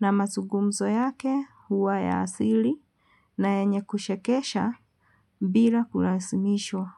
na mazugumzo yake huwa ya asili na yenye kuchekesha bila kulazimishwa.